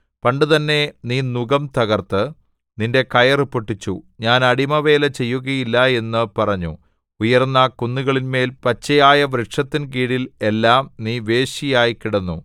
പണ്ടുതന്നെ നീ നുകം തകർത്ത് നിന്റെ കയറു പൊട്ടിച്ചു ഞാൻ അടിമവേല ചെയ്യുകയില്ല എന്നു പറഞ്ഞു ഉയർന്ന കുന്നുകളിന്മേൽ പച്ചയായ വൃക്ഷത്തിൻ കീഴിൽ എല്ലാം നീ വേശ്യയായി കിടന്നു